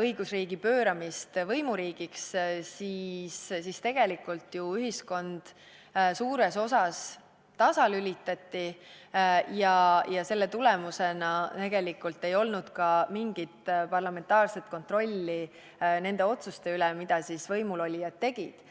õigusriigi pööramisest võimuriigiks, et tegelikult ühiskond suures osas tasalülitati ja seetõttu ei olnud ka mingit parlamentaarset kontrolli nende otsuste üle, mida võimulolijad tegid.